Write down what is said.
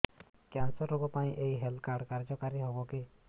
cancer ରୋଗ ପାଇଁ ଏଇ ହେଲ୍ଥ କାର୍ଡ କାର୍ଯ୍ୟକାରି ହେବ କି